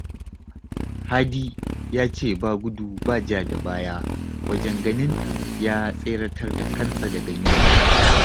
Hadi ya ce ba gudu ba ja da baya wajen ganin ya tseratar da kansa daga yunwa